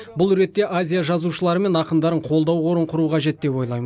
бұл ретте азия жазушылары мен ақындарын қолдау қорын құру қажет деп ойлайм